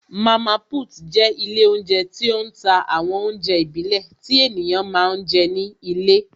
Mama put jẹ́ ilé oúnjẹ tí ó ń ta àwọn oúnjẹ ìbílẹ̀ tí ènìyàn máa ń jẹ ní ilé